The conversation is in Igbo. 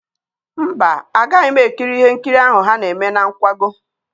Mba, agaghị m ekiri ihe nkiri ahụ ha na-eme na nkwago.